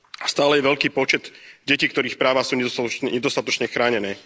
Stále je veľký počet detí, ktorých práva sú nedostatočne chránené.